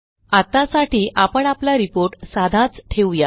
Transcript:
आत्तासाठी आपण आपला रिपोर्ट साधाच ठेवूया